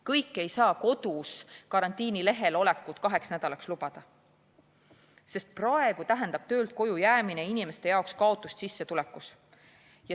Kõik ei saa kodus karantiinilehel olekut kaheks nädalaks lubada, sest praegu tähendab töölt koju jäämine inimeste jaoks kaotust sissetulekus.